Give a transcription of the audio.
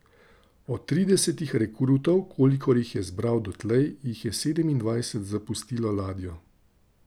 Od tridesetih rekrutov, kolikor jih je zbral dotlej, jih je sedemindvajset zapustilo ladjo.